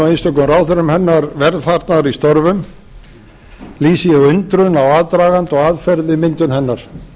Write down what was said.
einstökum ráðherrum hennar velfarnaðar í störfum lýsi ég undrun á aðdraganda og aðferð við myndun hennar